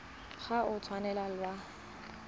ga o a tshwanela wa